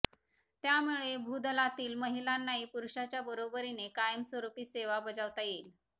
त्यामुळे भूदलातील महिलांनाही पुरुषाच्या बरोबरीने कायमस्वरूपी सेवा बजावता येईल